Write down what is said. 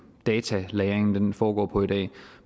datalagringen foregår på i dag